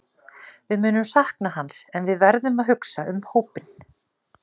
Við munum sakna hans en við verðum að hugsa um hópinn.